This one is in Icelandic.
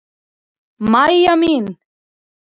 Mæja mín.